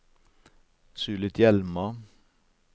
Sulitjelma